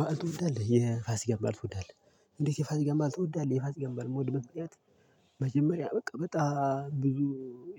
በዓል ትወዳለህ የፋሲ በዓል ትወዳለህ እንዴት የፋሲ በዓል ትወዳለህ የፋሲ በዓል የምወድበት ምክንያት በቃ በጣም ብዙ